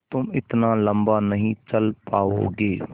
तुम इतना लम्बा नहीं चल पाओगे